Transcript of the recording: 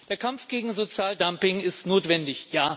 Der Kampf gegen Sozialdumping ist notwendig.